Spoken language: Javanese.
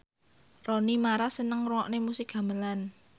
Rooney Mara seneng ngrungokne musik gamelan